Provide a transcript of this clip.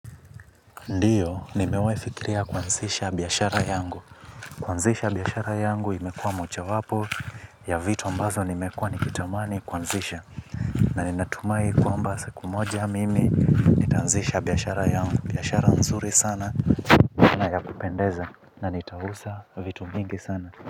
Ndio, nimewafikiria kuanzisha biashara yangu. Kuanzisha biashara yangu imekua moja wapo ya vitu ambazo nimekua nikitamani kuanzisha. Na ninatumai kwamba siku moja mimi, nitaanzisha biashara yangu. Biashara nzuri sana na ya kupendeza na nitauza vitu mingi sana.